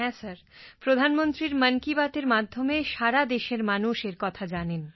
হ্যাঁ প্রধানমন্ত্রীর মন কি বাতএর মাধ্যমে সারা দেশের মানুষ এর কথা জানেন